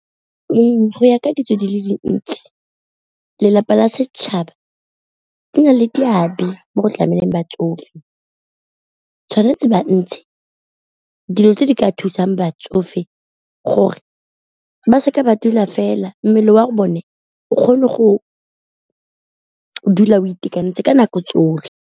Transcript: Ee, go ya ka ditso di le dintsi lelapa la setšhaba di na le seabe mo go tlameleng batsofe, tshwanetse dilo tse di ka thusang batsofe gore ba seke ba dula fela mmele wa bone o kgone go dula of itekanetse ka nako tsotlhe.